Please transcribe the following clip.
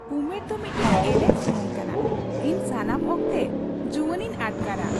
ᱩᱢᱮᱨ ᱫᱚ ᱢᱤᱫᱴᱟᱝ ᱮᱞᱮᱠ ᱥᱩᱢᱩᱝ ᱠᱟᱱᱟ ᱾ ᱤᱧ ᱥᱟᱱᱟᱢ ᱚᱠᱛᱮ ᱡᱩᱶᱟᱱᱤᱧ ᱟᱴᱠᱟᱨᱟ ᱾